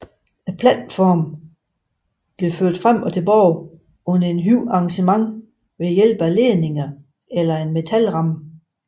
Platformen bliver ført frem og tilbage under et højt arrangement ved hjælp af ledninger eller en metalramme